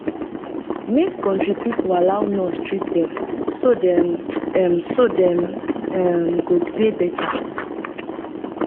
make country pipo allow nurse treat dem so dem um so dem um go dey better